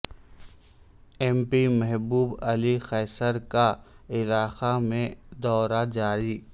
M P Mehboob Ali Qaiser کاعلاقہ میں دورہ جاری